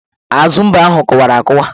Azu mbe ahụ kụwara akụwa.